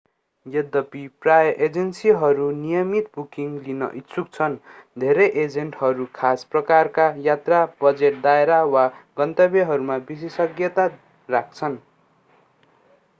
यद्दपी प्राय एजेन्सीहरू नियमित बुकिङ लिन इच्छुक छन् धेरै एजेन्टहरू खास प्रकारका यात्रा बजेट दायरा वा गन्तव्यहरूमा विशेषज्ञता राख्छन्